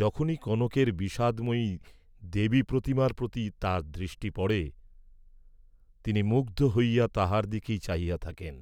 যখনই কনকের বিষাদময়ী দেবী প্রতিমার প্রতি তাঁর দৃষ্টি পড়ে, তিনি মুগ্ধ হইয়া তাহার দিকেই চাহিয়া থাকেন,